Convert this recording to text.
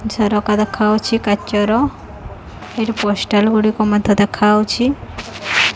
ଝରକା ଦେଖା ଯାଉଛି କାଚ ର ଏଠି ପୋଷ୍ଟାଲ ଗୁଡ଼ିକ ମଧ୍ୟ ଦେଖା ଯାଉଛି।